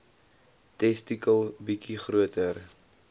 testikel bietjie groter